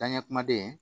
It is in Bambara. Danɲɛ kumaden